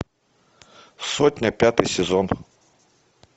сотня пятый сезон